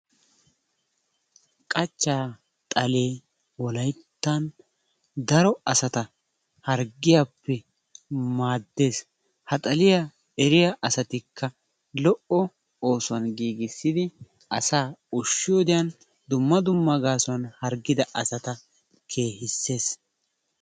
Qachchaa xalee wolayttan daro asata harggiyappe maadees, ha xaliya eriya asatikka lo''o oosuwan giigissidi asaa ushiyodiyan dumma dumma gaasuwan hargida asata kehissees.